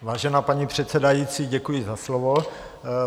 Vážená paní předsedající, děkuji za slovo.